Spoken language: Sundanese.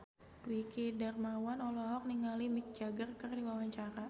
Dwiki Darmawan olohok ningali Mick Jagger keur diwawancara